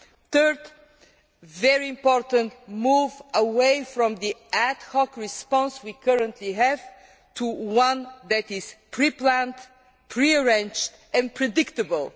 Third, there is a very important move away from the ad hoc response we currently have to one that is pre planned, pre arranged and predictable.